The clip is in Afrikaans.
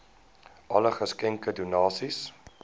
alle geskenke donasies